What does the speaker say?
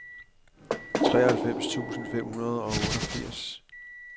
treoghalvfems tusind fem hundrede og otteogfirs